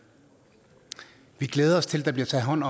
vi glæder os til at der bliver taget hånd